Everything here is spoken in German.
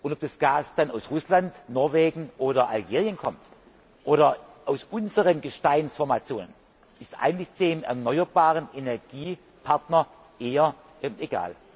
Ob das Gas dann aus Russland, Norwegen oder Algerien kommt oder aus unseren Gesteinsformationen, ist eigentlich dem erneuerbare Energien Partner eher egal.